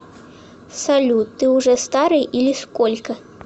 салют ты уже старый или сколько